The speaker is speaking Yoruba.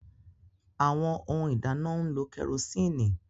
Awọn Ohun ìdáná n'lo kerosinni